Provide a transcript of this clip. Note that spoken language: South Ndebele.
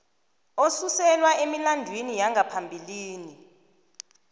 osuselwa emilandwini yangaphambilini